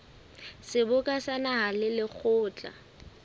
seboka sa naha le lekgotla